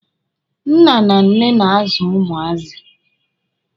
Nne na nna na-azụ ụmụazị.